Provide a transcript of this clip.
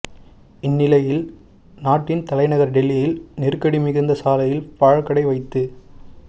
இந்நிலையில் நாட்டின் தலைநகர் டெல்லியில் நெருக்கடி மிகுந்த சாலையில் பழக்கடை வைத்து